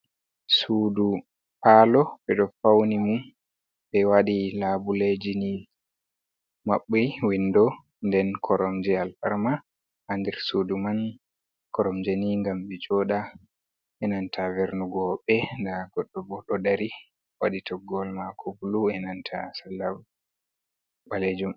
Sudu palo be do fauni mum be wadi labuleji ni mabbi windo den koromje alfarma ha nder sudu man koromjeni gam be joda enanta vernu honbe da godo bodo dari wadi toggol mako bulu enanta salla balejum.